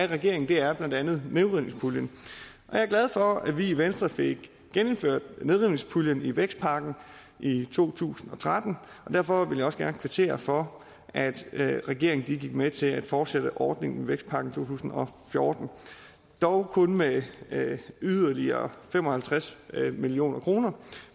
regeringen er blandt andet nedrivningspuljen jeg er glad for at vi i venstre fik gennemført nedrivningspuljen i vækstpakken i to tusind og tretten og derfor vil jeg også gerne kvittere for at regeringen gik med til at fortsætte ordningen i vækstpakken tusind og fjorten dog kun med yderligere fem og halvtreds million kroner